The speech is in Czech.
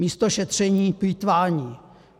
Místo šetření plýtvání.